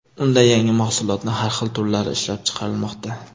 Unda yangi mahsulotning har xil turlari ishlab chiqarilmoqda.